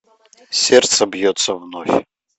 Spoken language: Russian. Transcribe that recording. сердце бьется вновь